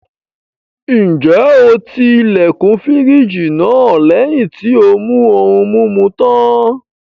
Ǹjẹ́ o ti ilẹ̀kùn fírìjì náà lẹ́yìn tí ó mú ohun-mimu tán?